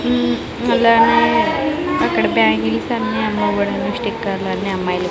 ఉం అలానే అక్కడ బ్యాంగిల్స్ అన్నీ అమ్మబడును స్టిక్కర్లన్నీ లన్నీ అమ్మాయ్లవి.